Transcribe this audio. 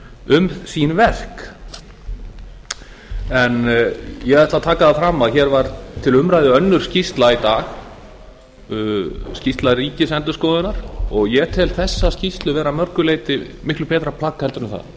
um sín verk ég ætla að taka það fram að hér var til umræðu önnur skýrsla í dag skýrsla ríkisendurskoðunar og ég tel þessa skýrslu vera að mörgu leyti miklu betra plagg heldur en það